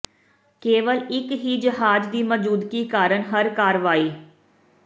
ਕੇਵਲ ਇੱਕ ਹੀ ਜਹਾਜ਼ ਦੀ ਮੌਜੂਦਗੀ ਕਾਰਨ ਹਰ ਕਾਰਵਾਈ